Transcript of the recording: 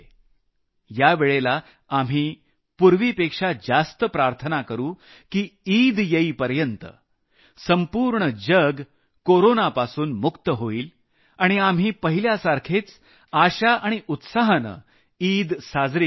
यावेळेला आम्ही पूर्वीपेक्षा जास्त प्रार्थना करू की ईद येईपर्यत संपूर्ण जग कोरोनापासून मुक्त होईल आणि आपण पहिल्यासारखेच आशा आणि उत्साहानं ईद साजरी करू शकू